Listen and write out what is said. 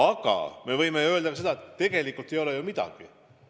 Aga me võime öelda ka seda, et tegelikult ei ole ju veel midagi.